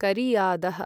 करियादः